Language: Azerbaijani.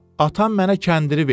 Atam mənə kəndiri verdi.